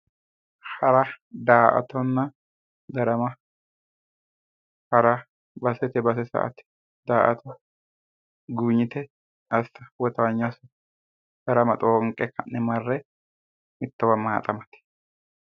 Hara da"aattonna darama, hara basetenni base sa"ate, da"atta guwinyite woyi towaanyo assa, darama xoonqe ha'ne marre mittowa maxamate.